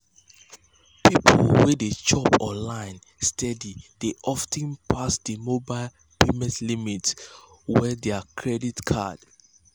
people wey dey shop online steady dey of ten pass di mobile payment limits wey dey dir credit cards